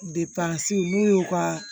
Depansi n'u y'u ka